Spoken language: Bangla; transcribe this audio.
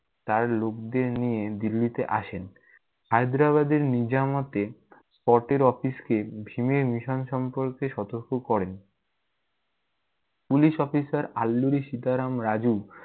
তার লোকদের নিয়ে দিল্লীতে আসেন। হায়দ্রাবাদের নিজামাতে পটের অফিসকে ভীমের mission সম্পর্কে সতর্ক করেন। Police officer Alluri Sitaram Raju-